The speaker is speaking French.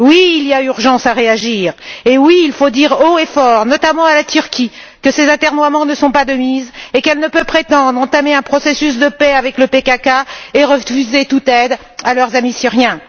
Il y a urgence à réagir et il faut dire haut et fort, notamment à la Turquie, que ses atermoiements ne sont pas de mise et qu'elle ne peut prétendre entamer un processus de paix avec le PKK et refuser toute aide à leurs amis syriens.